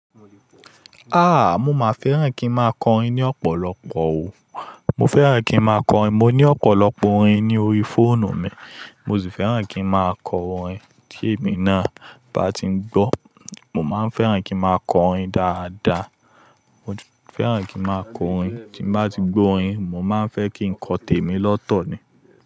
Ah! Mo máa fẹ́ràn kí n máa kọrin ní ọ̀pọ̀lọpọ̀ o. Mo fẹ́ràn kí n máa kọrin. Mo ní ọ̀pọ̀lọpọ̀ orin ní orí fóònù mi. Mo sì fẹ́ràn kí n máa kọ orin tí èmi náà bá ti ń gbọ́. Mo máa nfẹ́ràn kí n máa kọ orin dáadáa. Mo fẹ́ràn kí n máa kọ orin. Tí bá ti gbọ́ orin, mo máa ń fẹ́ kí n kọ tèmi lọ́tọ̀ ni.